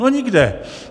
No nikde.